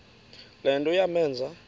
le nto yamenza